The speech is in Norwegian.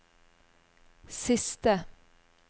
siste